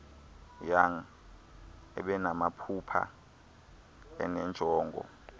young ebenamaphupha enenjongo